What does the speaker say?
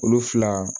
Olu fila